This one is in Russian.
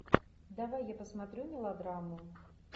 давай я посмотрю мелодраму